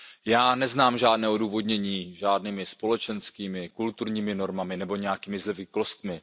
Já neznám žádné odůvodnění žádnými společenskými, kulturními normami nebo nějakými zvyklostmi.